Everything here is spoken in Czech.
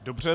Dobře.